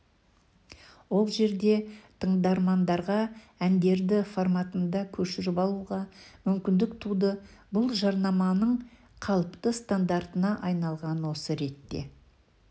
ол жерде тыңдармандарға әндерді форматында көшіріп алуға мүмкіндік туды бұл жарнаманың қалыпты стандартына айналған осы ретте